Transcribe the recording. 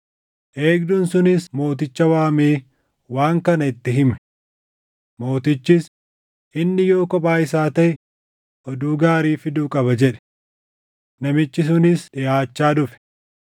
Eegduun sunis mooticha waamee waan kana itti hime. Mootichis, “Inni yoo kophaa isaa taʼe, oduu gaarii fiduu qaba” jedhe. Namichi sunis dhiʼaachaa dhufe.